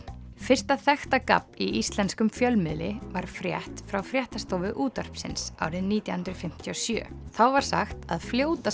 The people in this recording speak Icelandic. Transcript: fyrsta þekkta gabb í íslenskum fjölmiðli var frétt frá fréttastofu útvarpsins árið nítján hundruð fimmtíu og sjö þá var sagt að